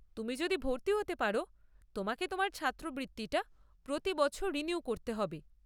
তুমি যদি ভর্তি হতে পার, তোমাকে তোমার ছাত্রবৃত্তি টা প্রতি বছর রিনিউ করতে হবে।